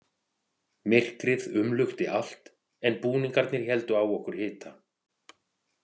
Myrkrið umlukti allt en búningarnir héldu á okkur hita.